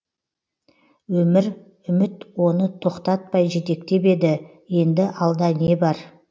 өмір үміт оны тоқтатпай жетектеп еді енді алда не бар